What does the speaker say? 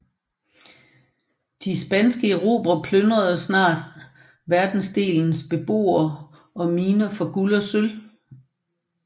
De spanske erobrere plyndrede snart verdensdelens beboere og miner for guld og sølv